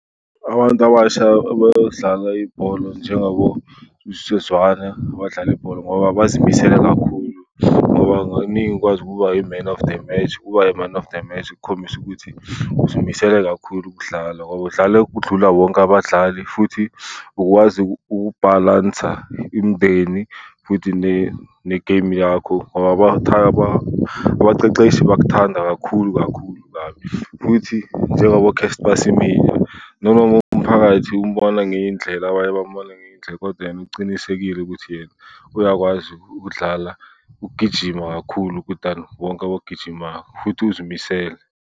Abantu abasha abadlala ibholo njengaboSibusiso Zwane abadlala ibhola ngoba bazimisele kakhulu. Ngoba mengikwazi ukuba yi-man of the match. Ukuba i-man of the match kukhombisa ukuthi uzimisele kakhulu ukudlala ngoba udlala ukudlula wonke abadlali futhi ukwazi ukubhalansa imndeni futhi ne-game yakho . Abaqeqeshi bakuthanda kakhulu kakhulu, kabi. Futhi njengoboCasper Semenya, noma umphakathi umbona ngenye indlela abanye bambone ngenye indlela kodwa yena ucinisekile ukuthi yena uyakwazi ukudlala, ukugijima kakhulu than wonke abogijimako futhi uzimisele.